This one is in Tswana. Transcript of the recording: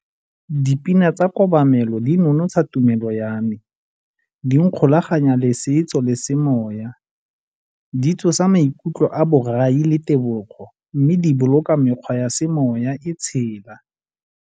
Dipina tsa kobamelo di nonotsha tumelo ya me, di nkgolaganya le setso le semoya, di tsosa maikutlo a borai le tebogo mme di boloka mekgwa ya semoya e tshela.